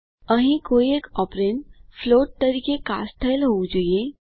અહીં કોઈ એક ઓપરેન્ડ ફ્લોટ તરીકે કાસ્ટ થયેલ હોવું જોઈએ